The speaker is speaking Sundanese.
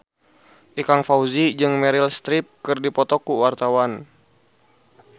Ikang Fawzi jeung Meryl Streep keur dipoto ku wartawan